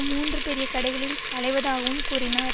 மூன்று பெரிய கடைகளில் அலைவதாகவும் கூறினார்